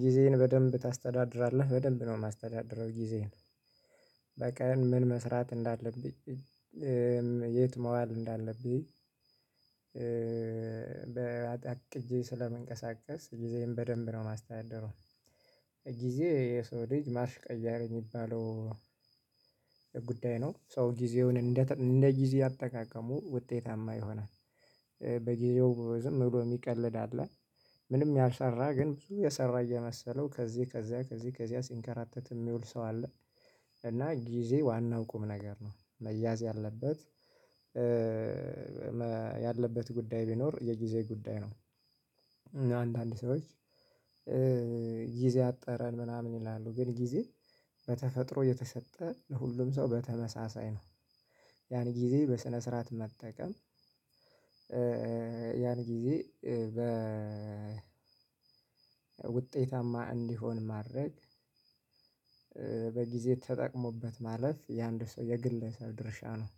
ጊዜህን በደንብ ታስተዳድራለህ በደንብ ነው የማስተዳድረው ጊዜዬን በቃ ምን መስራት እንዳለብኝ የት መዋል እንዳለብኝ አቅቼ ስለምንቀሳቀስ ጊዜዬብ በደንብ ነው የማስተዳደረው። ጊዜ የሰው ልጅ ማርሺ ቀያር የሚባለው ጉዳይ ነው። ሰው ጊዜውን እንደ እንደ ጊዜ አጠቃቀሙ ውጤታማ ይሆናል። በጊዜው ዝም ብሎ የሚቀልድ አለ። ምንም ያልሰራ ግን ብዙ የሰራ የመሰለው ከዚህ ከዚያ ከዚህ ከዚያ ሲንከራተት የሚውል ሰው አለ። እና ጊዜ ዋናው ቁም ነገር ነው መያዝ ያለበት ያለበት ጉዳይ ቢኖር የጊዜ ጉዳይ ነው። አንዳንድ ሰዎች ጊዜ አጠረን ምናምን ይላሉ ግን ጊዜ በተፈጥሮ የተሰጠ ለሁሉም ሰው በተመሳሳይ ነው። ያን ጊዜ በስነ ስርዓት መጠቀም ያን ጊዜ በ ውጤታማ እንዲሆን ማድረግ። በጊዜ ተጠቅሞበት ማለት የአንድ ሰው የግለሰብ ድርሻ ነው።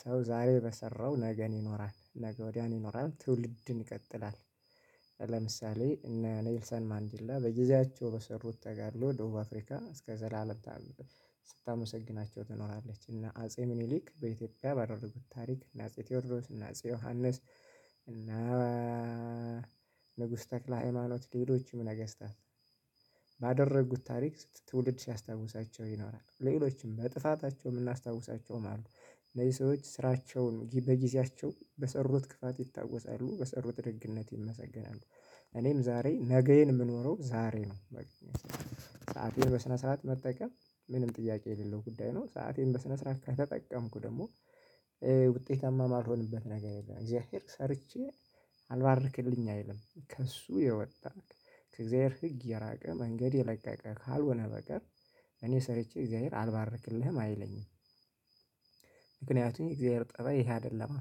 ሰው ዛሬ በሰራው ነገን ይኖራል ነገ ወድያን ይኖራል ትውልድን ይቀጥላል። ለምሳሌ እነ ኔልሰን ማንዲላ በጊዜያቸው በሰሩት ተጋድሎ ደቡብ አፍሪካ እስከ ዘላለም ታርድ ስታመሰግናቸው ትኖራለች። እና አጼ ምኒሊክ በኢትዮጵያ ባደርጉት ታሪክ እና አጼ ቴዎድሮስ እና አጼ ዮሐንስ እነ ንጉስ ተክለ ሃይማኖት ሌሎችም ነገስታት ባደረጉት ታሪክ ትውልድ ሲያስታውሳቸው ይኖራሉ። ሌሎችም በጥፋታቸው የምናስታውሳቸውም አሉ እነዚህ ሰዎች ስራቸውን በጊዜያቸው በሰሩት ክፍት ይታወሳሉ በሰሩት ድግነት ይመሰገናሉ። እኔም ዛሬ ነገዬን የምኖረው ዛሬ ነው። ሰአቴን በስነ ስርዓት መጠቀም ምንም ጥያቄ የሌለው ጉዳይ ነው። ሰአቴን በስነ ስርዓት ከተጠቀምኩ ደግሞ ውጤታማ የማልሆንበት ነገር የለም። እግዚአብሔር ሰርቼ አልባርክልኝ አይልም ከእሱ የወጣህ ከእግዚአብሔር ህግ የራቀ መንገድ የለቀቀ ካልሆነ በቀር እኔ ሰርቼ እግዚአብሔር አልባረክልህም አይለኝም። ምክንያቱም የእግዚአብሔር ፀባይ ይሄ አይደለም።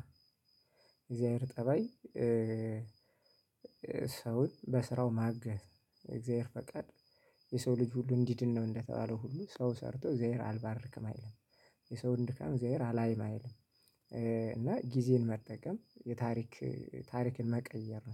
የእግዚአብሔር ፀባይ ሰውን በስራው ማገዝ የእግዚአብሔር ፈቃድ የሰው ልጅ ሁሉ እንዲድን ነው። እንደተባለው ሁሉ ሰው ሰርቶ እግዚአብሔር አልባርክም አይልም። የሰውን ድካም እግዚአብሔር አላይም አይልም። እና ጊዜን መጠቀም የታሪክ ታሪክን መቀየር ነው